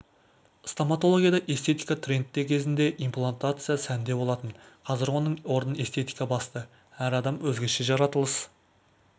стоматологияда эстетика трендте кезінде имплантация сәнде болатын қазір оның орнын эстетика басты әр адам өзгеше жаратылыс